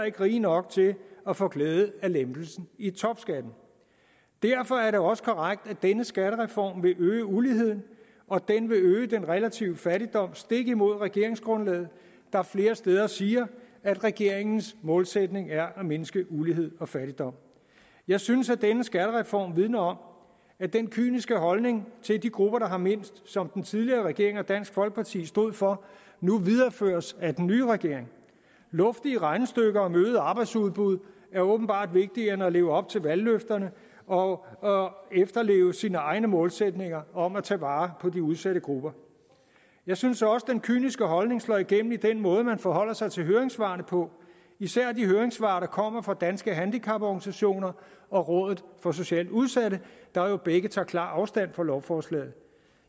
ikke rige nok til at få glæde af lempelsen i topskatten derfor er det også korrekt at denne skattereform vil øge uligheden og den vil øge den relative fattigdom stik imod regeringsgrundlaget der flere steder siger at regeringens målsætning er at mindske ulighed og fattigdom jeg synes at denne skattereform vidner om at den kyniske holdning til de grupper der har mindst som den tidligere regering og dansk folkeparti stod for nu videreføres af den nye regering luftige regnestykker om øget arbejdsudbud er åbenbart vigtigere end at leve op til valgløfterne og og efterleve sine egne målsætninger om at tage vare på de udsatte grupper jeg synes også den kyniske holdning slår igennem i den måde man forholder sig til høringssvarene på især de høringssvar der kommer fra danske handicaporganisationer og rådet for socialt udsatte der jo begge tager klar afstand fra lovforslaget